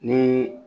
Ni